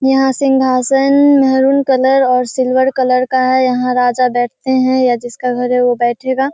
यहाँ सिंघासन maroon colour और सिल्वर कलर का है यहाँ राजा बैठते हैं या जिसका घर है वो बैठेगा।